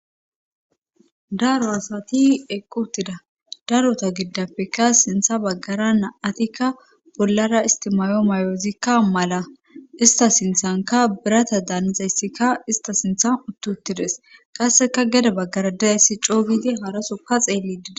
daro asati eqqi uttida darota gidappeka sintha baggara na'atikka bollara isti maayo mayozikka mala ista sinthanka birata daanizayssikka ista sinthan uttiutides qasseka geda baggara dizayssi coogidi harasokka xeellidi des